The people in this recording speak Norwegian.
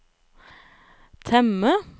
temme